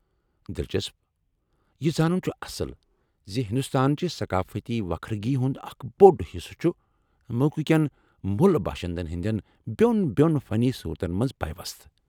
دلچسپ! یہ زانُن چھ اصل زِ ہندوستان چہ ثقٲفتی وكھرگی ہُند اکھ بوٚڑ حصہٕ چُھ مُلکٕہ كین موٗلہٕ باشندن ہندین بیو٘ن بیوٚن فنی صورتن منز پیوست ۔